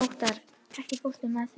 Óttarr, ekki fórstu með þeim?